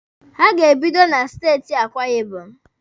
Ha ga-ebido na steeti Akwa Ibom.